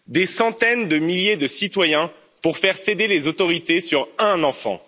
Des centaines de milliers de citoyens pour faire céder les autorités sur un enfant.